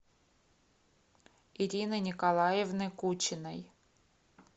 ирины николаевны кучиной